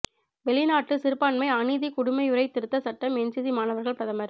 வௌிநாட்டு சிறுபான்மை அநீதி குடியுரிமை திருத்த சட்டம் என்சிசி மாணவர்கள் பிரதமர்